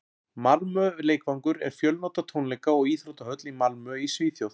malmö leikvangur er fjölnota tónleika og íþróttahöll í malmö í svíþjóð